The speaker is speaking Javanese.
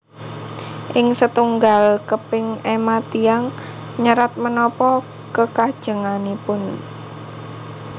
Ing setunggal keping ema tiyang nyerat menapa kekajenganipun